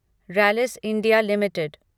Rallis India limited